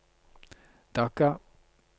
Dhaka